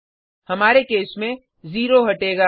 हमारे केस में जीरो हटेगा